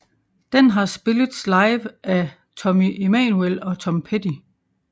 Den har spillets live af Tommy Emmanuel og Tom Petty